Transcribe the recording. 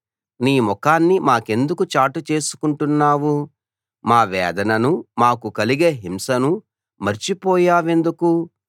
నీ ముఖాన్ని మాకెందుకు చాటు చేసుకుంటున్నావు మా వేదననూ మాకు కలిగే హింసనూ మర్చిపోయావెందుకు